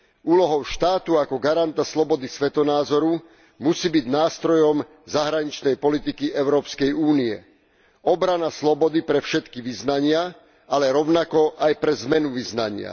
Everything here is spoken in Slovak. Úlohou štátu ako garanta slobody svetonázoru musí byť nástrojom zahraničnej politiky Európskej únie. Obrana slobody pre všetky vyznania, ale rovnako aj pre zmenu vyznania.